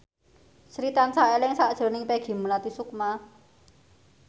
Sri tansah eling sakjroning Peggy Melati Sukma